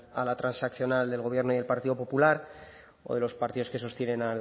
a la transaccional del gobierno y el partido popular o de los partidos que sostienen